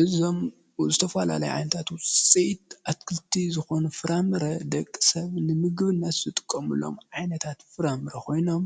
እዞም ዝተፈላለዩ ዓይነታት ዉጺኢት ኣትክልቲ ዝኮኑ ፍራምረ ደቂ ሰብ ንምግብነት ዝጥቀምሎም ዓይነታት ፍራምረ ኾይኖም፣